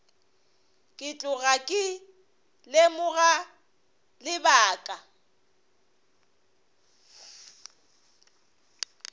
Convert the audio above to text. ke tloga ke lemoga lebaka